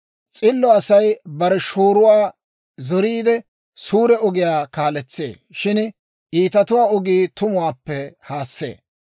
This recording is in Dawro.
S'illo Asay bare shooruwaa zoriidde, suure ogiyaa kaaletsee; shin iitatuwaa ogii tumuwaappe haassee.